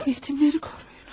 Yetimləri koruyunuz.